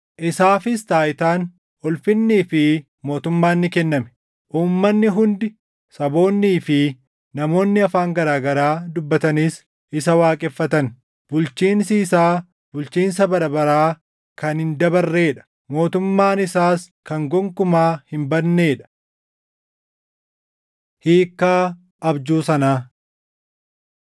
Isaafis taayitaan, ulfinnii fi mootummaan ni kenname; uummanni hundi, saboonnii fi namoonni afaan garaa garaa dubbatanis isa waaqeffatan. Bulchiinsi isaa bulchiinsa bara baraa kan hin dabarree dha; mootummaan isaas kan gonkumaa hin badnee dha. Hiikkaa Abjuu Sanaa